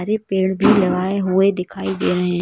पेड़ भी लगाए हुए दिखाई दे रहे हैं।